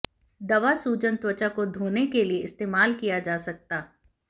दवा सूजन त्वचा को धोने के लिए इस्तेमाल किया जा सकता